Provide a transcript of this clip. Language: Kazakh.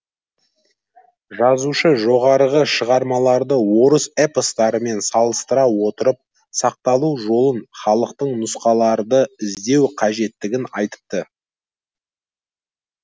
жазушы жоғарғы шығармаларды орыс эпостарымен салыстыра отырып сақталу жолын халықтық нұсқаларды іздеу қажеттігін айтыпты